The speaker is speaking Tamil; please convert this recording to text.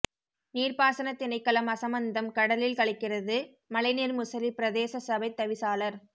நீர்ப்பாசனத் திணைக்களம் அசமந்தம் கடலில் கலக்கிறது மழைநீர் முசலி பிரதேசசபை தவிசாளர்